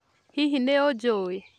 Hihi nĩ ũnjũĩ?